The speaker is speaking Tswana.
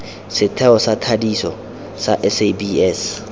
setheo sa thadiso sa sabs